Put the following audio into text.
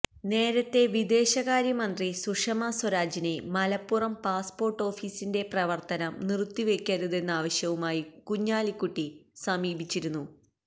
നേരത്തെ വിദേശകാര്യ മന്ത്രി സുഷമ സ്വരാജിനെ മലപ്പുറം പാസ്പോര്ട്ട് ഓഫിസിന്റെ പ്രവര്ത്തനം നിറുത്തിവെക്കരുതെന്നാവശ്യവുമായി കുഞ്ഞാലിക്കുട്ടി സമീപിച്ചിരുന്നു